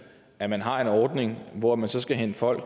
at man har en ordning hvor man så skal hente folk